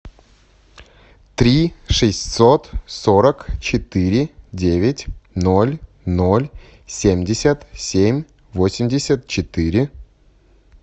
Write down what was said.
три шестьсот сорок четыре девять ноль ноль семьдесят семь восемьдесят четыре